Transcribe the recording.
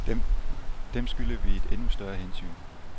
Dem skylder vi et endnu større hensyn.